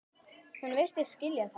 Hún virtist skilja það.